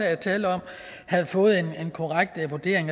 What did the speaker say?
er tale om havde fået en korrekt vurdering